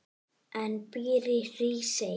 en býr í Hrísey.